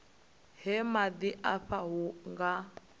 ha maḓi afha hu nga